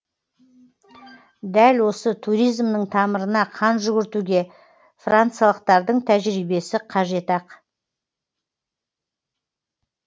дәл осы туризмнің тамырына қан жүгіртуге франциялықтардың тәжірибесі қажет ақ